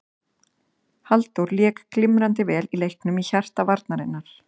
Halldór lék glimrandi vel í leiknum í hjarta varnarinnar.